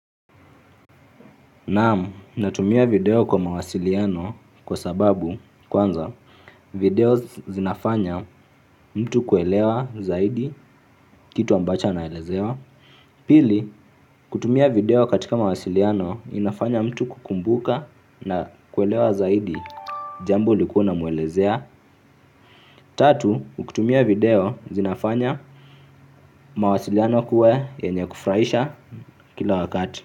Naam, natumia video kwa mawasiliano kwa sababu kwanza video zinafanya mtu kuelewa zaidi kitu ambacho anaelezewa. Pili, kutumia video katika mawasiliano inafanya mtu kukumbuka na kuelewa zaidi jambo ulikuwa unamuelezea. Tatu, ukutumia video zinafanya mawasiliano kuwa yenye kufurahisha kila wakati.